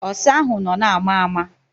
Ọsa ahụ nọ na-ama ama.